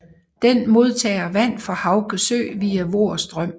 Den modtager vand fra Hauge Sø via Voer Strøm